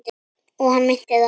Og hann meinti það.